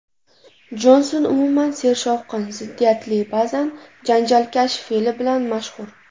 Jonson umuman sershovqin, ziddiyatli, ba’zan janjalkash fe’li bilan mashhur.